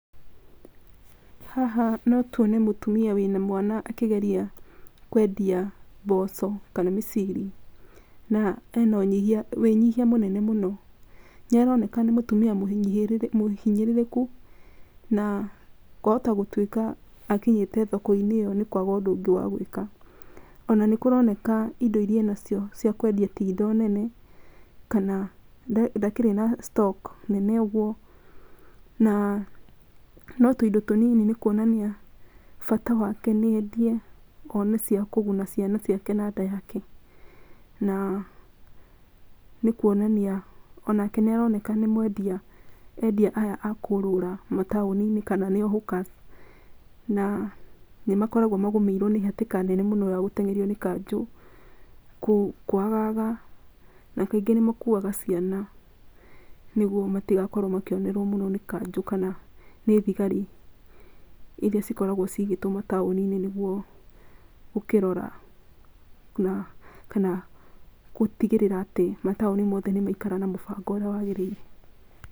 Haha no tũone mũtumia wĩna mwana akĩgeria kwendia mboco kana mĩciri na ena wĩnyihia mũnene mũno nĩ aroneka nĩ mũtumia mũhinyĩrĩrĩku na kwahota gũtwĩka akinyĩte thoko-inĩ ĩyo nĩ kwaga ũndũ ũngĩ wa gwĩka ona nĩ kũroneka indo iria enacio cia kwendia ti indo nene kana ndakĩrĩ na stock nene ũguo na no tũindo tũnini nĩ kuonania bata wake níĩendie one cia kũguna ciana ciake na nda yake na nĩ kuonania onake nĩ aoneka nĩ mwendia endia aya a kũrũra mataũni-inĩ kana nio hawkers na nĩmakoragwo magũmĩirwo nĩ hatĩka nene ya gũteng'erio nĩ kanjũ na níngĩ níĩmakuaga ciana nĩgwo matigakorwo makionerwo mũno nĩ kanjũ kana nĩ thigari iria cikoragwo cigĩtwo mataũni-inĩ nĩgwo gũkĩrora kana gũtĩgĩrĩra atĩ mataũni mothe nĩmagĩikara na mũbango ũrĩa wagĩrĩire.